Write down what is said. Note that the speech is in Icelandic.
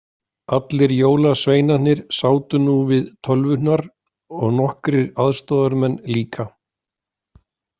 Allir jólasveinarnir sátu nú við tölvurnar og nokkrir aðstoðamenn líka.